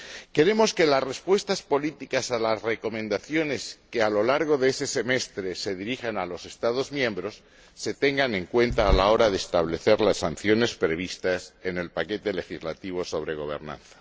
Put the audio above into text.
Queremos que las respuestas políticas a las recomendaciones que a lo largo de ese semestre se dirigen a los Estados miembros se tengan en cuenta a la hora de establecer las sanciones previstas en el paquete legislativo sobre gobernanza.